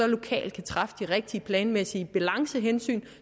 lokalt kan træffe de rigtige planmæssige balancehensyn